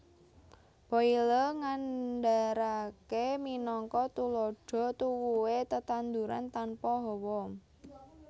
Boyle ngandharaké minangka tuladha tuwuhé tetanduran tanpa hawa